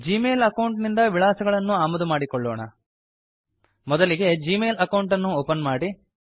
ಜೀ ಮೇಲ್ account ನಿಂದ ವಿಳಾಸಗಳನ್ನು ಆಮದು ಮಾಡಿಕೊಳ್ಳೋಣ ಮೊದಲಿಗೆ ಜೀ ಮೇಲ್ ಅಕೌಂಟ್ ಅನ್ನು ಓಪನ್ ಮಾಡಿ